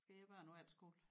Skal I have børn på efterskole